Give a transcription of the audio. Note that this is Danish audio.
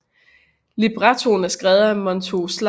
Librettoen er skrevet af Montagu Slater efter et digt af George Crabbe